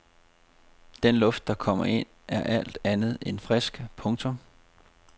Den luft der kommer ind er alt andet end frisk. punktum